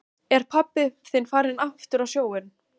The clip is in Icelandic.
Er pabbi þinn farinn aftur á sjóinn?